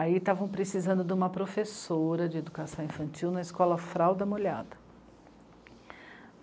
Aí estavam precisando de uma professora de educação infantil na escola Fralda Molhada.